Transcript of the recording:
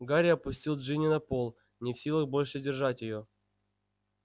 гарри опустил джинни на пол не в силах больше держать её